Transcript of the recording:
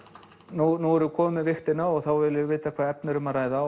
nú erum við komin með vigtina og þá viljum við vita hvaða efni er um að ræða